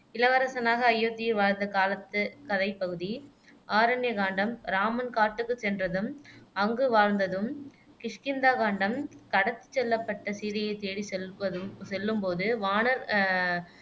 இளவரசனாக அயோத்தியில் வாழ்ந்த காலத்துக் கதைப் பகுதி ஆரண்ய காண்டம் இராமன் காட்டுக்குச் சென்றதும் அங்கு வாழ்ந்ததும் கிஷ்கிந்தா காண்டம் கடத்திச் செல்லப்பட்ட சீதையைத் தேடிச் செல்வதும் செல்லும்போது வானர் அஹ்